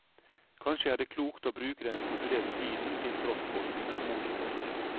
Kanskje er det klokt å bruke den stipulerte tiden til tross for utålmodighet.